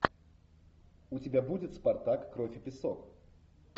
у тебя будет спартак кровь и песок